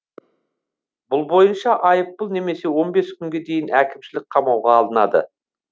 бұл бойынша айыппұл немесе он бес күнге дейін әкімшілік қамауға алынады